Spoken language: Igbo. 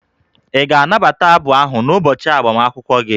Ị ga-anabata abụ ahụ n'ụbọchị agbamakwụkwọ gị?